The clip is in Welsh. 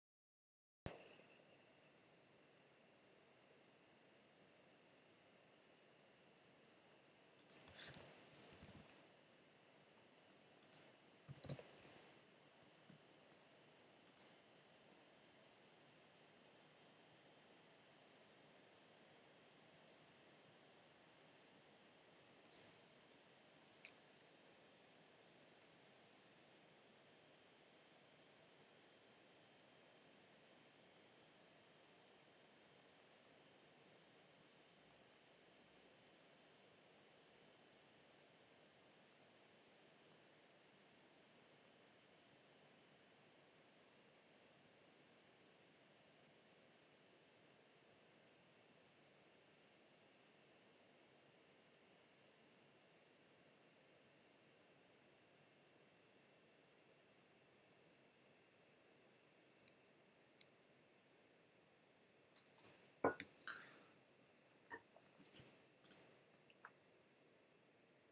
mae'n rhaid i'r bleidlais gael ei chadarnhau o hyd gan y pwyllgor olympaidd rhyngwladol llawn yn ei gyfarfod ym mis hydref